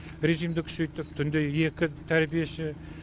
режимді күшейттік түнде екі тәрбиеші